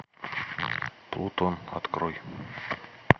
плутон открой